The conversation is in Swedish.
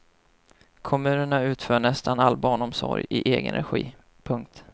Kommunerna utför nästan all barnomsorg i egen regi. punkt